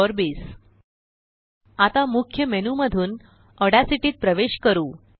C LAME installation Ogg Vorbis आता मुख्य menu मधूनऑड्यासिटीत प्रवेश करू